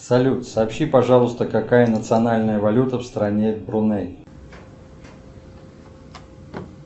салют сообщи пожалуйста какая национальная валюта в стране бруней